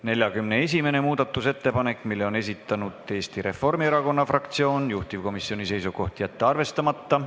41. muudatusettepaneku on esitanud Eesti Reformierakonna fraktsioon, juhtivkomisjoni seisukoht: jätta see arvestamata.